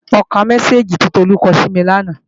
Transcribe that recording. Mo ka mẹ́sáàgì tí Tolú kọ sími lánàá